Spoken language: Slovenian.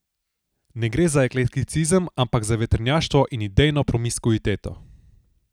Ne gre za eklekticizem, ampak za vetrnjaštvo in idejno promiskuiteto.